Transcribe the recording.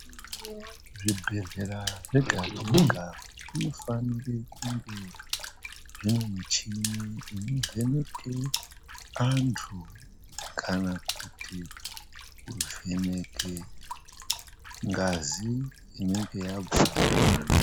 Zvibhehlera zvega zvega zvinofanira kunge zvine michini inovheneke antu kana kuti kuvheneke ngazi inenge yabva kuvantu.